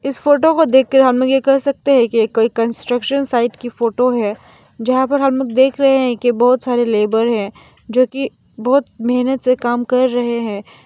इस फोटो को देखकर हमलोग यह कह सकते हैं कि ये कोई कंस्ट्रक्शन साइट की फोटो है जहां पर हमलोग देख रहे हैं की बहोत सारे लेबर हैं जो की बहोत मेहनत से काम कर रहे हैं।